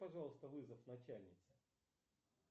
пожалуйста вызов начальнице